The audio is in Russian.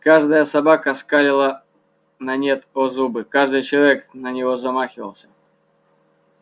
каждая собака скалила на нет о зубы каждый человек на него замахивался